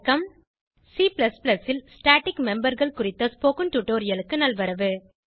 C ல் static memberகள் குறித்த ஸ்போகன் டுடோரியலுக்கு நல்வரவு